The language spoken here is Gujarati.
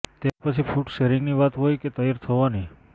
તે પછી ફૂડ શેરિંગની વાત હોય કે તૈયાર થવાની